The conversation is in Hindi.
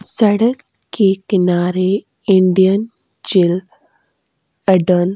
सड़क के किनारे इंडियन चिल एडल --